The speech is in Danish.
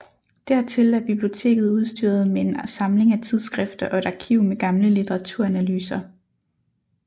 Dertil er biblioteket udstyret med en samling af tidsskrifter og et arkiv med gamle litteraturanalyser